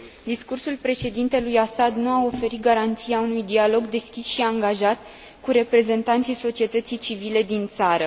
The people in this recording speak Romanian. Discursul Președintelui Assad nu a oferit garanția unui dialog deschis și angajat cu reprezentanții societății civile din țară.